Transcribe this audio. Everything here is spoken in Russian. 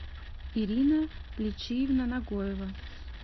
ирина лечиевна нагоева